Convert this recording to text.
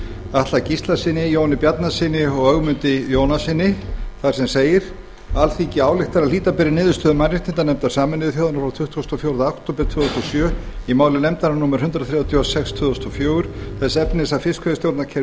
atla gíslasyni jóni bjarnasyni og ögmundi jónassyni þar sem segir alþingi ályktar að hlíta beri niðurstöðu mannréttindanefndar sameinuðu þjóðanna frá tuttugasta og fjórða október tvö þúsund og sjö í máli nefndarinnar númer þrettán hundruð og sex tvö þúsund og fjögur þess efnis að fiskveiðistjórnarkerfi